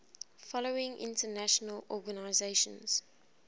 following international organizations